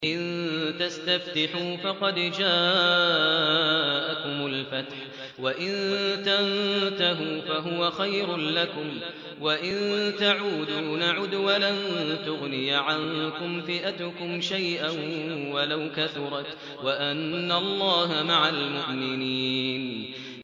إِن تَسْتَفْتِحُوا فَقَدْ جَاءَكُمُ الْفَتْحُ ۖ وَإِن تَنتَهُوا فَهُوَ خَيْرٌ لَّكُمْ ۖ وَإِن تَعُودُوا نَعُدْ وَلَن تُغْنِيَ عَنكُمْ فِئَتُكُمْ شَيْئًا وَلَوْ كَثُرَتْ وَأَنَّ اللَّهَ مَعَ الْمُؤْمِنِينَ